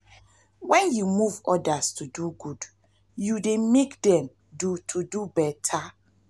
wen yu move odas to do good yu dey mek dem to do beta.